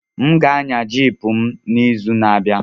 M ga-anya Jiip m n'izu na-abịa.